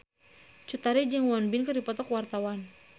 Cut Tari jeung Won Bin keur dipoto ku wartawan